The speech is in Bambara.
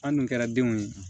An dun kɛra denw ye